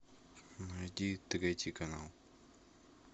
найди третий канал